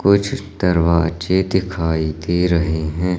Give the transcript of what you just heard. कुछ दरवाजे दिखाई दे रहे हैं।